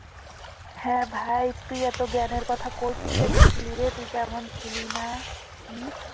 হ্যাঁ ভাই তুই এত জ্ঞানের কথা কই থেকে শিখলিরে তুই তো এমন ছিলি না হম